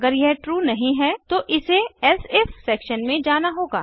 अगर यह ट्रू नहीं है तो इसे एलसिफ सेक्शन में जाना होगा